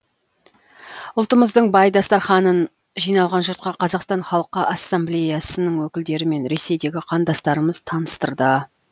ұлтымыздың бай дастарханын жиналған жұртқа қазақстан халқы ассамблеясының өкілдері мен ресейдегі қандастарымыз таныстырды